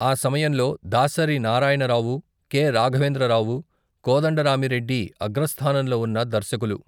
ఈ సమయంలో దాసరి నారాయణరావు, కె.రాఘవేంద్రరావు, కోదండరామి రెడ్డి అగ్రస్థానంలో ఉన్న దర్శకులు.